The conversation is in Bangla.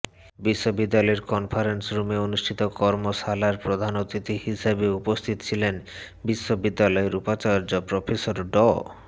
বিশ্ববিদ্যালয়ের কনফারেন্স রুমে অনুষ্ঠিত কর্মশালায় প্রধান অতিথি হিসেবে উপস্থিত ছিলেন বিশ্ববিদ্যালয়ের উপাচার্য প্রফেসর ড